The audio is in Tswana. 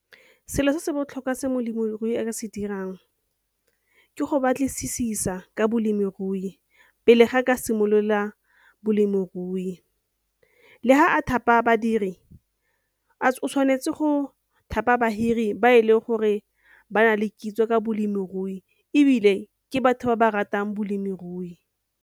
Selo se se botlhokwa se molemirui a ka se dirang ke go batlisisa ka bolemirui pele ga ka simolola balemirui, le ha a thapa badiri a o tshwanetse go thapa badiri ba e leng gore ba na le kitso ka bolemirui ebile ke batho ba ba ratang bolemirui.